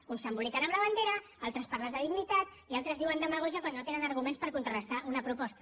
uns s’emboliquen amb la bandera altres parlen de dignitat i altres diuen demagògia quan no tenen arguments per contrarestar una proposta